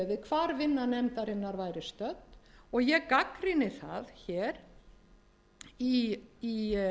hvar vinna nefndarinnar væri stödd og ég gagnrýni það hér í